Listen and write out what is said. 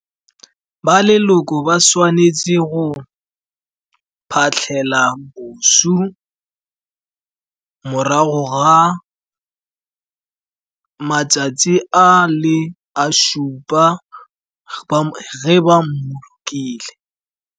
Ba leloko ba tshwanetse go phatlhela moswi morago ga matsatsi a le a supa ge ba mmolokile.